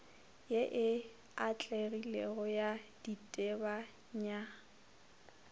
ye e atlegilego ya ditebanywa